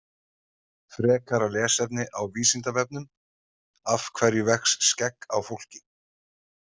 Frekara lesefni á Vísindavefnum Af hverju vex skegg á fólki?